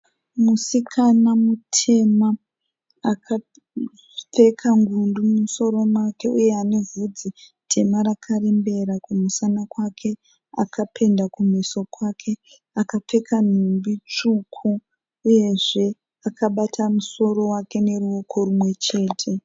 Musikana mutema, akapfeka ngundu mumusoro make uye ane vhudzi tema rakarembera kumusana kwake, akapenda kumeso kwake, akapfeka nhumbi tsvuku uyezve akabata musoro wake noruoko rumwechete.